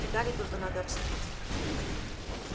детали только надо обсудить